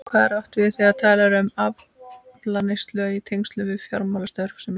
Hvað er átt við þegar talað er um aflandseyjar í tengslum við fjármálastarfsemi?